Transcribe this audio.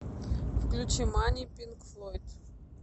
включи мани пинк флойд